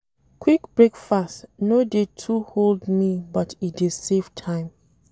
Quick breakfast no dey too hold me but e dey save time.